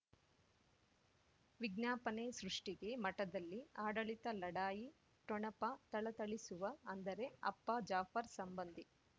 ವಿಜ್ಞಾಪನೆ ಸೃಷ್ಟಿಗೆ ಮಠದಲ್ಲಿ ಆಡಳಿತ ಲಢಾಯಿ ಠೊಣಪ ಥಳಥಳಿಸುವ ಅಂದರೆ ಅಪ್ಪ ಜಾಫರ್ ಸಂಬಂಧಿ